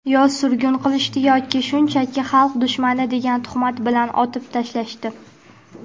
yo surgun qilishdi yoki shunchaki "xalq dushmani" degan tuhmat bilan otib tashlashdi.